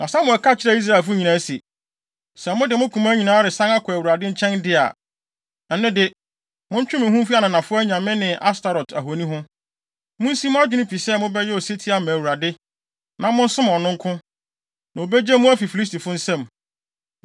Na Samuel ka kyerɛɛ Israelfo nyinaa se, “Sɛ mode mo koma nyinaa resan akɔ Awurade nkyɛn de a, ɛno de, montwe mo ho mfi ananafo anyame ne Astoret ahoni ho. Munsi mo adwene pi sɛ mobɛyɛ osetie ama Awurade, na monsom ɔno nko, na obegye mo afi Filistifo nsam.”